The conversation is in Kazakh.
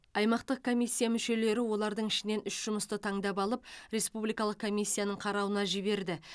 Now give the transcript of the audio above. аймақтық комиссия мүшелері олардың ішінен үш жұмысты таңдап алып республикалық комиссияның қарауына жіберді